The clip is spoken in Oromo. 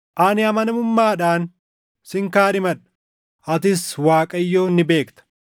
Ani amanamummaadhaan sin kaadhimadha; atis Waaqayyoon ni beekta.”